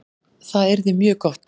Það yrði mjög gott